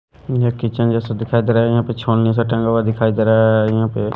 ये किचन जैसा दिखाई दे रहा है यहां पे छोलनी सा टंगा हुआ दिखाई दे रहा है यहां पे--